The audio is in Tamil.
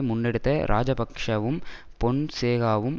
முன்னெடுத்த இராஜபக்ஷவும் பொன்சேகாவும்